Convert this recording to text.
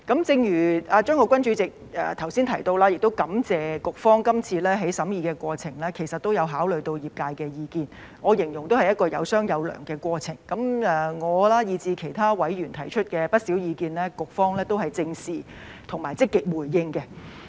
正如法案委員會主席張國鈞議員剛才提到，我亦感謝局方今次在審議過程中，其實也有考慮業界的意見，我形容是"有商有量"的過程，我以至其他委員提出的不少意見，局方都正視及積極回應。